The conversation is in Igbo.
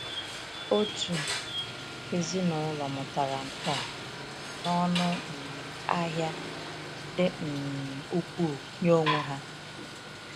Otu ezinụlọ mụtara nke a um n’ọnụ um ahịa dị um ukwuu nye onwe ha.